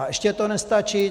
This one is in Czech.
A ještě to nestačí.